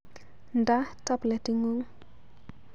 Nda tableting'ung